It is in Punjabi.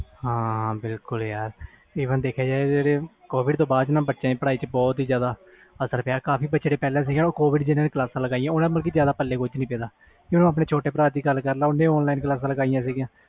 ਹਾਂ ਬਿਲਕੁਲ ਯਾਰ ਹੁਣ ਦੇਖਿਆ ਜਾਵੇ ਤੇ ਕੋਵਿਡ ਤੋਂ ਬਾਅਦ ਬੱਚਿਆਂ ਦੀ ਪਾੜਈ ਤੇ ਬਹੁਤ ਅਸਰ ਪਿਆ ਕੋਵਿਡ ਕਰਕੇ online ਕਲਾਸ ਲਈਆਂ ਕੁਛ ਪਾਲੇ ਨਹੀਂ ਪਿਆ ਬੱਚਿਆਂ ਦੇ ਜੇ ਮੈਂ ਆਪਣੇ ਛੋਟੇ ਭਰਾ ਦੀ ਗੱਲ ਕਰਾ